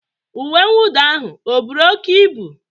uwe mwụda ahụ ọ buru oke ibu?